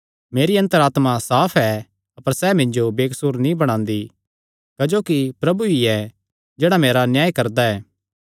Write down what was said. मेरी अन्तर आत्मा साफ ऐ अपर सैह़ मिन्जो बेकसूर नीं बणांदी क्जोकि प्रभु ई ऐ जेह्ड़ा मेरा न्याय करदा ऐ